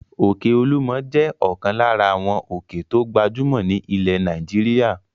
Òkè Olúmọ̀ jẹ́ ọ̀kan lára àwọn òkè tó gbajúmọ̀ ní ilẹ̀ Nàìjíríà.